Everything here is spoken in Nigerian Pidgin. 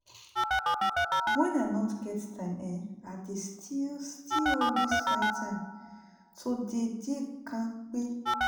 when i no get time[um]i dey still still always find time to dey dey kampe